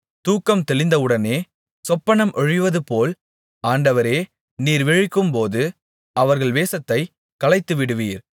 தூக்கம் தெளிந்தவுடனே சொப்பனம் ஒழிவதுபோல் ஆண்டவரே நீர் விழிக்கும்போது அவர்கள் வேஷத்தை கலைத்துவிடுவீர்